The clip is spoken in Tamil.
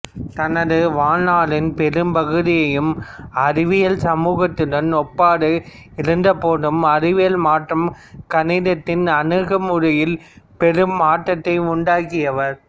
தனது வாழ்நாளின் பெரும்பகுதியும் அறிவியல் சமூகத்துடன் ஒப்பாது இருந்தபோதும் அறிவியல் மற்றும் கணிதத்தின் அணுகுமுறையில் பெரும் மாற்றத்தை உண்டாக்கியவர்